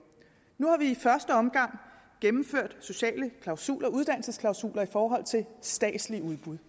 nu har vi i første omgang gennemført sociale klausuler uddannelsesklausuler i forhold til statslige udbud